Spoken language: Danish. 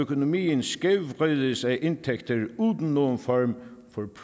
økonomien skævvrides af indtægter uden nogen form for